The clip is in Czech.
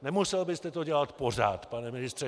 Nemusel byste to dělat pořád, pane ministře.